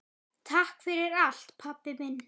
Takk fyrir allt, pabbi minn.